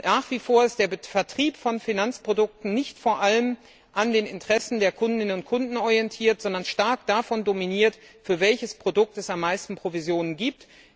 Nach wie vor ist der Vertrieb von Finanzprodukten nicht vor allem an den Interessen der Kundinnen und Kunden orientiert, sondern stark davon dominiert, für welches Produkt es am meisten Provisionen gibt.